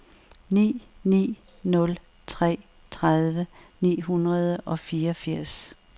ni ni nul tre tredive ni hundrede og fireogfirs